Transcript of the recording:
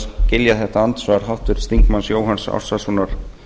skilja þetta andsvar háttvirts þingmanns jóhanns ársælssonar